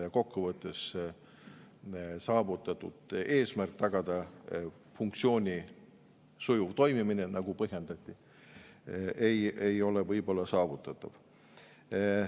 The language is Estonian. Ja kokku võttes: eesmärk tagada funktsiooni sujuv toimimine, nagu põhjendati, ei ole võib-olla saavutatav.